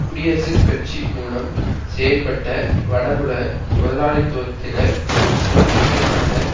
குடியரசுக் கட்சி மூலம் செயல்பட்ட வடபுல முதலாளித்துவத்தினர் தோற்கடிக்கப்பட்ட